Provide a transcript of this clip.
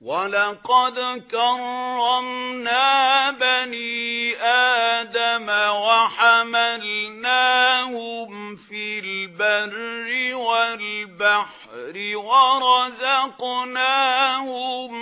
۞ وَلَقَدْ كَرَّمْنَا بَنِي آدَمَ وَحَمَلْنَاهُمْ فِي الْبَرِّ وَالْبَحْرِ وَرَزَقْنَاهُم